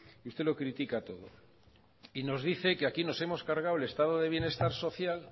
y usted lo critica todo y nos dice que aquí nos hemos cargado el estado de bienestar social